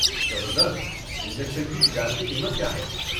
زبردست۔ انجکشن کی تجارتی قیمت کیا ہے؟